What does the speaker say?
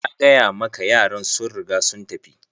Nagaya maka yaran sun riga sun tafi.